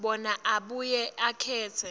bona abuye akhetse